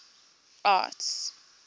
arts